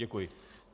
Děkuji.